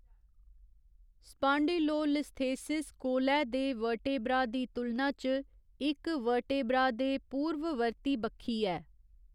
Spondylolisthesis कोलै दे vertebra दी तुलना च इक वर्ट्रेबा दे पूर्ववर्ती बक्खी ऐ।